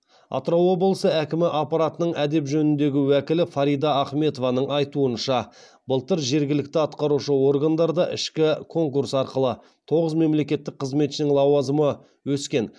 атырау облысы әкімі аппаратының әдеп жөніндегі уәкілі фарида ахметованың айтуынша былтыр жергілікті атқарушы органдарда ішкі конкурс арқылы тоғыз мемлекеттік қызметшінің лауазымы өскен